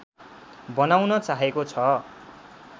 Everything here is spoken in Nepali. बनाउन चाहेको छ